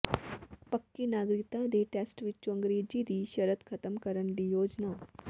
ਪੱਕੀ ਨਾਗਰਿਕਤਾ ਦੇ ਟੈਸਟ ਵਿੱਚੋਂ ਅੰਗਰੇਜ਼ੀ ਦੀ ਸ਼ਰਤ ਖਤਮ ਕਰਨ ਦੀ ਯੋਜਨਾ